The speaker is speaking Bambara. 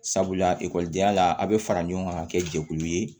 Sabula ekɔlidenya la a bɛ fara ɲɔgɔn kan ka kɛ jɛkulu ye